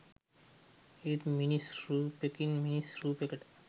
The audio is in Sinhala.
ඒත් මිනිස් රූපෙකින් මිනිස් රූපෙකට